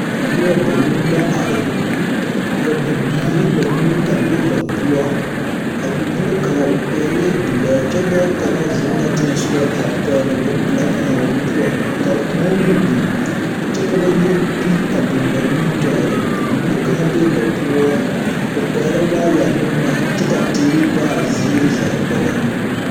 Noba banuu la are. Ka bibiiri banuu a be ba poɔ. A bibile kaŋa o pɛglɛɛ bilɛɛ kyɛ dɔɔ kaŋa zeŋ la teŋɛsogɔ a pɛgle bompelaa kaŋa a o nu poɔ ka kõɔ meŋ biŋ, kyɛ ka ba yɛre pil a biŋ ba nimitɔɔreŋ bibile kaŋa bee ba poɔ, o pɛglɛɛ waayɛre ne boma kyɛ ka teere be a ziiri zaa kpɛlɛŋ.